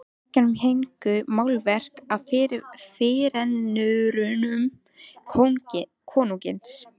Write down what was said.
Á veggjum héngu málverk af fyrirrennurum konungsins.